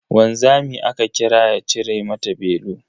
Wanzami aka kira ya cire mata belu.